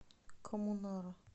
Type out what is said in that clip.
коммунара